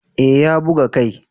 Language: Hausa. Eh ya buga kai